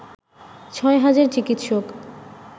ছয় হাজার চিকিৎসক